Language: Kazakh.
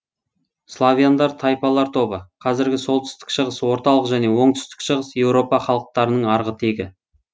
славяндар тайпалар тобы қазіргі солтүстік шығыс орталық және оңтүстік шығыс еуропа халықтарының арғы тегі